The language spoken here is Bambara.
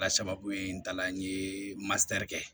Ala sababu ye n ta la n ye matɛrɛli kɛ